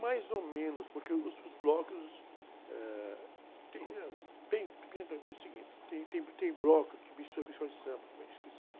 Mais ou menos, porque os, os blocos, ãh... Tem, eh, tem, tem também o seguinte, tem, tem, tem, tem bloco que mistura com escola de samba, fica esquisito.